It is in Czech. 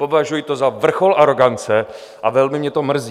Považuji to za vrchol arogance a velmi mě to mrzí.